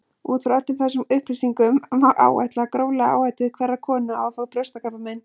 Út frá öllum þessum upplýsingum má áætla gróflega áhættu hverrar konu á að fá brjóstakrabbamein.